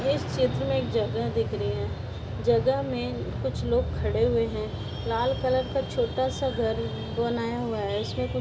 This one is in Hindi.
इस चित्र में एक जगह दिख री है जगह में कुछ लोग खड़े हुए हैं लाल कलर का छोटा सा घर बनाया हुआ है। इसमें कु --